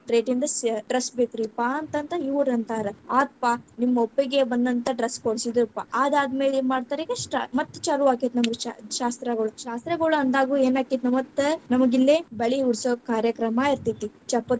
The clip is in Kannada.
Rate ಇಂದ ಅ dress ಬೇಕರೀಪ್ಪಾ ಅಂತ ಇವ್ರ ಅಂತಾರ, ಆತ್ಪಾ ನಿಮ್ ಒಪ್ಪಿಗೆ ಬಂದಂತಾ dress ಕೋಡ್ಸಿದ್ರಪ್ಪಾ, ಆದಾದಮೇಲೆ ಏನ್‌ ಮಾಡ್ತಾರ ಈಗ್‌ ಮತ್ ಚಾಲುವಾಕ್ಕೇತಿ ನಮಗ ಚಾ ಶಾಸ್ತ್ರಗಳು, ಶಾಸ್ತ್ರಗುಳು ಅಂದಾಗೂ ಏನಾಕ್ಕೇತಿ ಮತ್ತೆ ನಮಗಿಲ್ಲೇ ಬಳಿ ಉಡಸೋ ಕಾರ್ಯಕ್ರಮಾ ಇರ್ತೇತಿ, ಚಪ್ಪರ.